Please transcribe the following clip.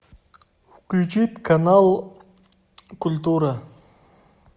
включить канал культура